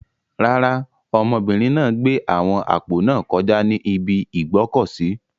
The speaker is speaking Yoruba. Rárá, ọmọbìnrin náà gbé àwọn àpò náà kọjá ní ibi ìgbọ́kọ̀sìí.